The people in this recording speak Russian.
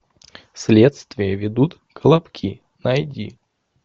следствие ведут колобки найди